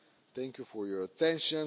Thank you for your attention.